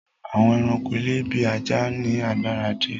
Àwọn èràńko ilé bí ajá ní agbára díẹ.